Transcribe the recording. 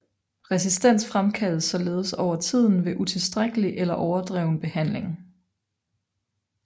Resistens fremkaldes således over tiden ved utilstrækkelig eller overdreven behandling